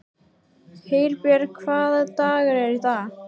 Herbjörg, hvaða dagur er í dag?